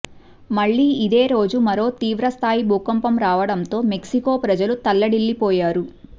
మళ్లీ ఇదే రోజే మరో తీవ్రస్థాయి భూకంపం రావడంతో మెక్సికో ప్రజలు తల్లడిల్లిపోయారు